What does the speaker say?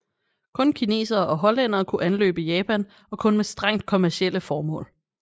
Kun kinesere og hollændere kunne anløbe Japan og kun med strengt kommercielle formål